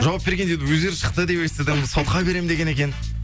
жауап бергенде енді өздері шықты деп естідім сотқа берем деген екен